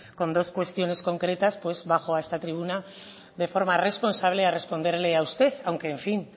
con dos cuestiones concretas pues bajo a esta tribuna de forma responsable a responderle a usted aunque en fin